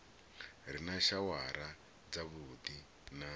re na shawara dzavhuddi na